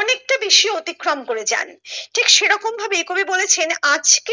অনেকটা বেশি অতিক্রম করে যান ঠিক সেরকম ভাবে কবি বলেছেন আজকে